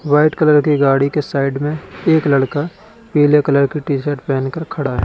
White colour की गाड़ी के साइड में एक लड़का पीले कलर की टी शर्ट पहन कर खड़ा है।